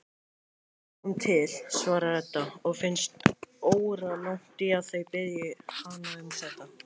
Við sjáum til, svarar Edda og finnst óralangt í að þau biðji hana um þetta.